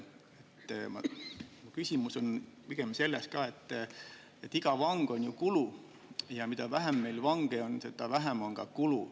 Küsimus on pigem selles, et iga vang on ju kulu ja mida vähem meil vange on, seda vähem on ka kulu.